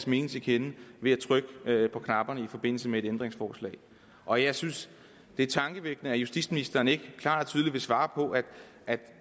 mening til kende ved at trykke på knapperne i forbindelse med et ændringsforslag og jeg synes det er tankevækkende at justitsministeren ikke klart og tydeligt vil svare på at